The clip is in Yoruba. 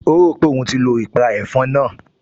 O rò pé òun ti lo ìpàrà ẹ̀fọn náà